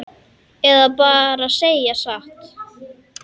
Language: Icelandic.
Eða segja bara satt?